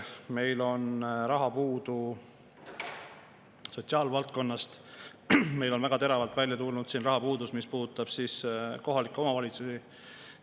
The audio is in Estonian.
Meil on raha puudu sotsiaalvaldkonnas, meil on väga teravalt välja tulnud rahapuudus, mis puudutab kohalikke omavalitsusi.